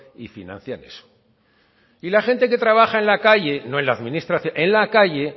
y financian eso y la gente que trabaja en la calle no en la administración en la calle